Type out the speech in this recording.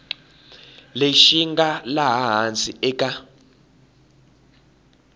lexi nga laha hansi eka